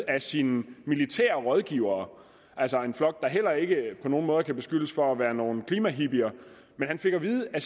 af sine militære rådgivere altså en flok der heller ikke på nogen måde kan beskyldes for at være nogle klimahippier fik at vide at